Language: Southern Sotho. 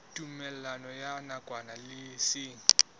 tumellano ya nakwana le seng